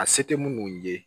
A se tɛ mun ye